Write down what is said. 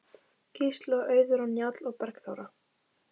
Gísli og Auður og Njáll og Bergþóra.